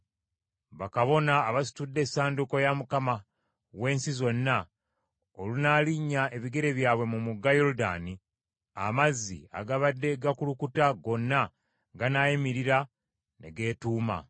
Bakabona abasitudde Essanduuko ya Mukama w’ensi zonna, olunaalinnya ebigere byabwe mu mugga Yoludaani, amazzi agabadde gakulukuta gonna ganaayimirira ne geetuuma.”